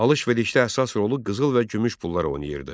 Alış-verişdə əsas rolu qızıl və gümüş pullar oynayırdı.